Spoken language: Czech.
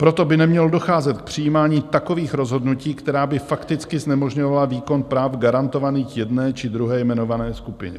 Proto by nemělo docházet k přijímání takových rozhodnutí, která by fakticky znemožňovala výkon práv garantovaných jedné či druhé jmenované skupině.